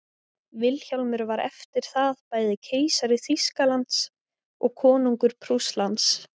vilhjálmur var eftir það bæði keisari þýskalands og konungur prússlands